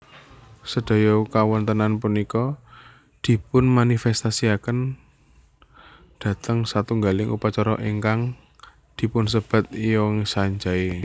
Sedaya kawontenan punika dipunmanifestasiaken dhateng satunggaling upacara ingkang dipunsebat Yeongsanjae